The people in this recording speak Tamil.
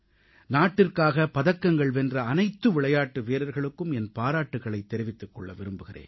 நாட்டிற்காக பதக்கங்கள் வென்ற அனைத்து விளையாட்டு வீரர்களுக்கும் என் பாராட்டுகளைத் தெரிவிக்க விரும்புகிறேன்